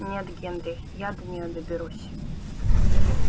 нет генри я до неё доберусь